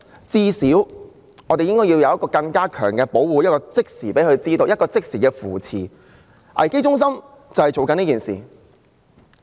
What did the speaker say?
最少我們要有更強的保護和即時的扶持，而危機中心便是做這些工作。